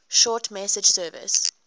short message service